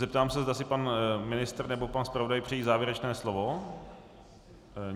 Zeptám se, zda si pan ministr nebo pan zpravodaj přejí závěrečné slovo.